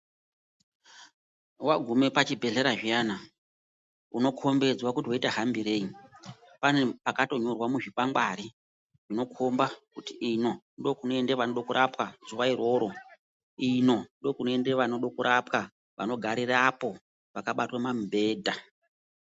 Wagume pachibhedhlera zviyana, unokhombidzwa kuti woite hambirei. Pane pakatonyorwa muzvikwangwari zvinokhomba kuti ino ndokunoenda vanoda kurapwa zuwa iroro, ino ,ndokunoenda vanode kurapwa, vanogarirapo vakabatwa pamibhedha.